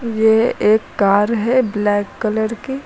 यह एक कार है ब्लैक कलर की।